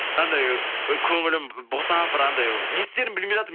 анандай і көңілім босап бір андай не істерімді білмей жатырмын